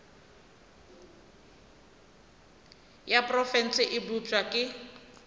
ya profense e bopša ke